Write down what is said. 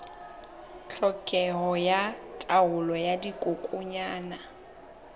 tlhokeho ya taolo ya dikokwanyana